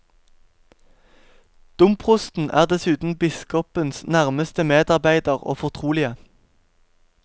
Domprosten er dessuten biskopens nærmeste medarbeider og fortrolige.